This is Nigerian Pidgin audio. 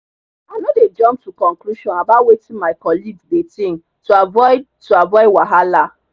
i no dey jump to conclusion about wetin my colleague dey think to avoid to avoid wahala